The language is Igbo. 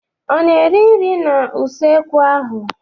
Ọ na-eri nri n'usekwu ahụ?